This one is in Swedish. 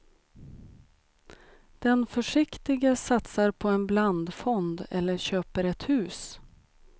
Den försiktige satsar på en blandfond eller köper ett hus.